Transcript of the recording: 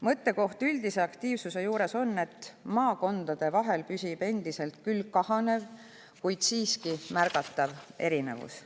Mõttekoht selle üldise aktiivsuse juures on see, et maakondade vahel endiselt püsib küll kahanev, kuid siiski märgatav erinevus.